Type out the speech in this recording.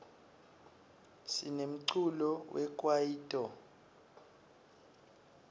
sinemculo we kwayito